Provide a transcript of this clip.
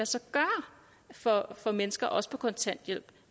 sig gøre for for mennesker også på kontanthjælp